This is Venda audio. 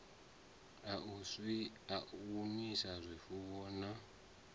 a u nwisa zwifuwo na